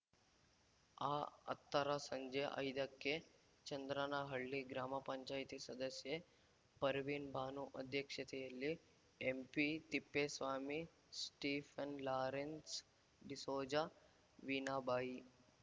ಅಹತ್ತರ ಸಂಜೆ ಐದಕ್ಕೆ ಚಂದ್ರನಹಳ್ಳಿ ಗ್ರಾಮ ಪಂಚಾಯ್ತಿ ಸದಸ್ಯೆ ಪರ್ವಿನ್‌ ಬಾನು ಅಧ್ಯಕ್ಷತೆಯಲ್ಲಿ ಎಂಪಿತಿಪ್ಪೇಸ್ವಾಮಿ ಸ್ಟೀಫನ್‌ ಲಾರೆನ್ಸ್‌ ಡಿಸೋಜ ವೀನಾಬಾಯಿ